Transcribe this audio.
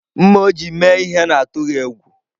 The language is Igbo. Mma o ji eme ihe n’atụghị egwu.